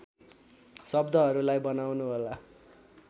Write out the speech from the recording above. शब्दहरूलाई बनाउनुहोला